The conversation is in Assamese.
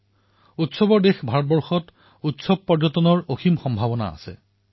আমাৰ উৎসৱৰ দেশ ভাৰতত উৎসৱ পৰ্যটনৰ অনেক সম্ভাৱনা আছে